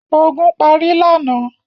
Ogun parí lánàá?